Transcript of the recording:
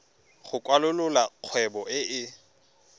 go kwalolola kgwebo e e